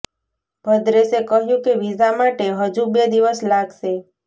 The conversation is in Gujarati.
ભદ્રેશે કહ્યું કે વિઝા માટે હજુ બે દિવસ લાગશે